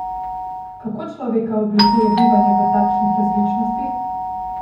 Kako človeka oblikuje bivanje v takšnih različnostih?